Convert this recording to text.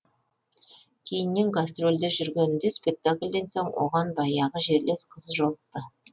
кейіннен гастрольде жүргенінде спектакльден соң оған баяғы жерлес қыз жолықты